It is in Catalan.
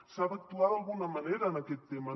s’ha d’actuar d’alguna manera en aquest tema